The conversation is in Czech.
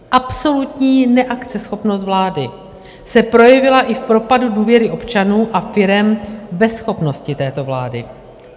Absolutní neakceschopnost vlády se projevila i v propadu důvěry občanů a firem ve schopnosti této vlády.